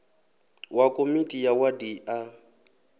wa komiti ya wadi a